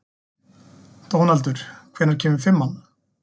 Dónaldur, hvenær kemur fimman?